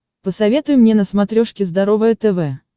посоветуй мне на смотрешке здоровое тв